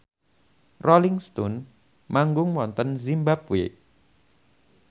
Rolling Stone manggung wonten zimbabwe